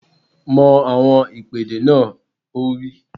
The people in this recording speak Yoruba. Mọ àwọn ìpèdè náà! Ó wí